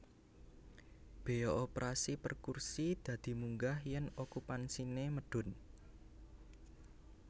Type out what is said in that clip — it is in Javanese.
Béya operasi per kursi dadi munggah yèn okupansiné medhun